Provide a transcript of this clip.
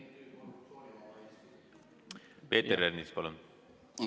Peeter Ernits, palun!